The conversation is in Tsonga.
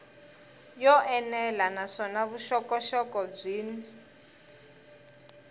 yo enela naswona vuxokoxoko byin